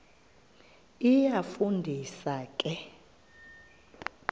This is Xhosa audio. iyafu ndisa ke